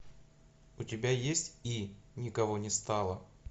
у тебя есть и никого не стало